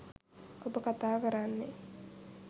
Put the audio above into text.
ඔබ කතා කරන්නේ